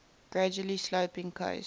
gradually sloping coasts